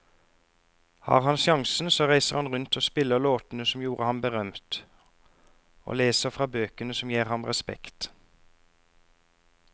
Har han sjansen så reiser han rundt og spiller låtene som gjorde ham berømt, og leser fra bøkene som gir ham respekt.